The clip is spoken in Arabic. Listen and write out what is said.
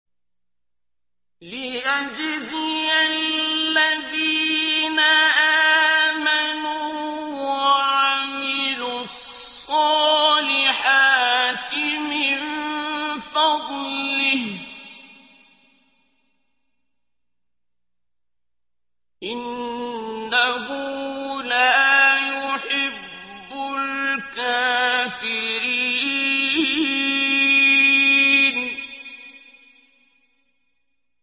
لِيَجْزِيَ الَّذِينَ آمَنُوا وَعَمِلُوا الصَّالِحَاتِ مِن فَضْلِهِ ۚ إِنَّهُ لَا يُحِبُّ الْكَافِرِينَ